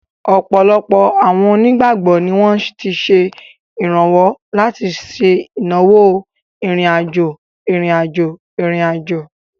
Ọ̀pọ̀lọpọ̀ àwọn onígbàgbọ́ ni wọ́n ti ṣe ìrànwọ́ láti ṣe ìnáwó ìrìn-àjò ìrìn-àjò ìrìn-àjò.